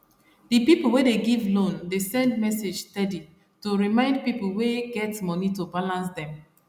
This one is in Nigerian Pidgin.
the people wey dey give loan dey send message steady to remind people wey get money to balance dem